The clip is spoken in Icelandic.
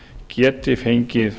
geti fengið